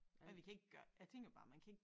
Ja vi kan ikke gør jeg tænker bare man kan ikke